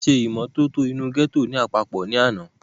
wọ́n ṣe ìmọ́tótó inú gẹ́tò ní àpapọ̀ ní àná